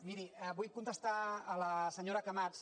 miri vull contestar a la senyora camats